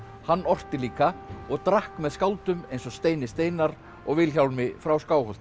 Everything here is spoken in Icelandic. hann orti líka og drakk með skáldum eins og Steini Steinarr og Vilhjálmi frá